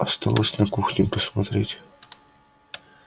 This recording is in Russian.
осталось на кухне посмотреть